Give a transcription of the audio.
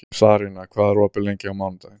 Sarína, hvað er opið lengi á mánudaginn?